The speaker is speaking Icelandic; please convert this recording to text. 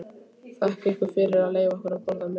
Þakka ykkur fyrir að leyfa okkur að borða með ykkur.